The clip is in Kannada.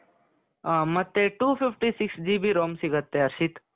ಅ ಮತ್ತೆ two fifty six GB ROMಸಿಗುತ್ತೆ ಹರ್ಷಿತ್ .